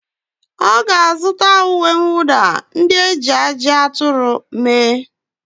Ọ ga-azụta uwe mwụda ndị e ji ajị aturu mee.